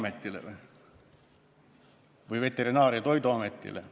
Keeleametile või Veterinaar- ja Toiduametile?